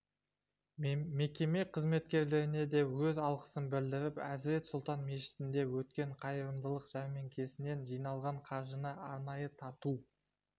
мекеме қызметкерлеріне де өз алғысын білдіріп әзірет сұлтан мешітінде өткен қайырымдылық жәрмеңкесінен жиналған қаржыны арнайы тарту